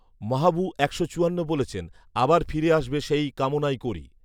মাহবু একশো চুয়ান্ন বলেছেন, আবার ফিরে আসবে সেই কামনাই করি